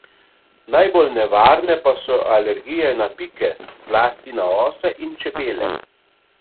Najbolj nevarne pa so alergije na pike, zlasti na ose in čebele.